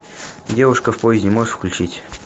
девушка в поезде можешь включить